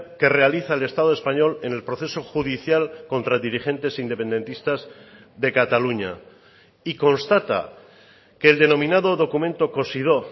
que realiza el estado español en el proceso judicial contra dirigentes independentistas de cataluña y constata que el denominado documento cosidó